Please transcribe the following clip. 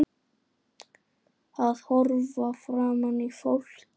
Að horfa framan í fólk.